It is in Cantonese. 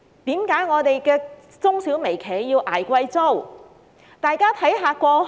為何我們的中小微企要捱貴租？